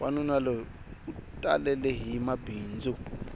wanuna loyi u talelehi mabindzu